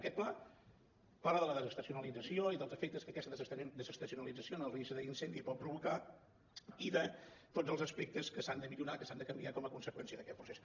aquest pla parla de la desestacionalització i dels efectes que aquesta desestacionalització en el risc d’incendi pot provocar i de tots els aspectes que s’han de millorar que s’han de canviar com a conseqüència d’aquest procés